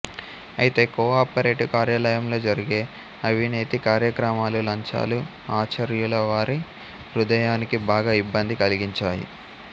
అయితే కోఆపరేటివ్ కార్యాలయంలో జరిగే అవినేతి కార్యక్రమాలు లంచాలు ఆచార్యులవారి హృదయానికి బాగా ఇబ్బంది కల్గించాయి